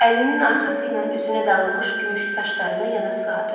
Əlinin arxası ilə üzünə dağılmış gümüşü saçlarını yana sığadı.